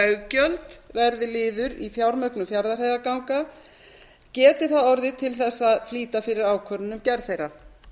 veggjöld verði liður í fjármögnun fjarðarheiðarganga geti það orðið til að flýta fyrir ákvörðun um gerð þeirra